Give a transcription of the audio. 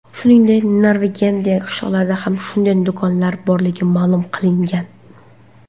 Shuningdek, Norvegiyadagi qishloqlarda ham shunday do‘konlar borligi ma’lum qilingan .